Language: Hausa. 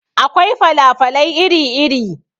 Akwai fala falai iri iri.